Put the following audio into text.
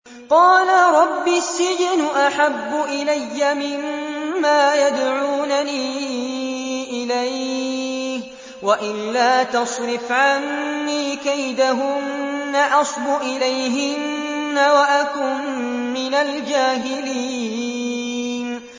قَالَ رَبِّ السِّجْنُ أَحَبُّ إِلَيَّ مِمَّا يَدْعُونَنِي إِلَيْهِ ۖ وَإِلَّا تَصْرِفْ عَنِّي كَيْدَهُنَّ أَصْبُ إِلَيْهِنَّ وَأَكُن مِّنَ الْجَاهِلِينَ